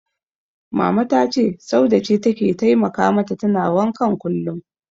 Mama ta ce Saude ce take taimaka mata tana wankan kullum.